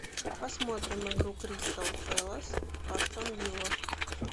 посмотрим игру кристал пэлас астон вилла